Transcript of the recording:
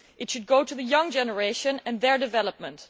It should go to the young generation, and their development.